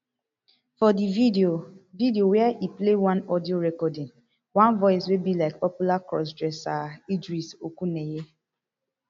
for di video video wia e play one audio recording one voice wey be like popular crossdresser idris okuneye